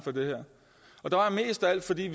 og det var mest af alt fordi